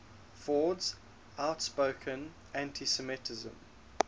ford's outspoken anti semitism